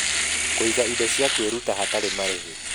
Kũiga indo cia kwĩruta hatarĩ marĩhi.